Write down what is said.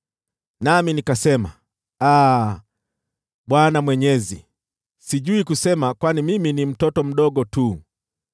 Nami nikasema, “Aa, Bwana Mwenyezi, sijui kusema, kwani mimi ni mtoto mdogo tu.”